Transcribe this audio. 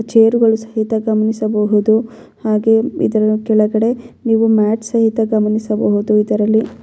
Chair ಗಳು ಸಹಿತ ಗಮನಿಸಬಹುದು ಹಾಗೆ ಇದರ ಕೆಳಗಡೆ ನೀವು ಮ್ಯಾಟ್ ಸಹಿತ ಗಮನಿಸಬಹುದು ಇದರಲ್ಲಿ.